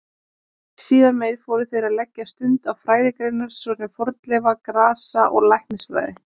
Síðar meir fóru þeir að leggja stund á fræðigreinar svo sem fornleifa-, grasa- og læknisfræði.